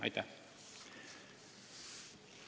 Aitäh!